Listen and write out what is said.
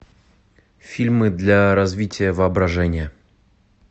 фильмы для развития воображения